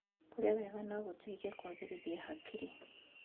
Kũrĩa wega no gũteithie kũagĩrithia hakiri.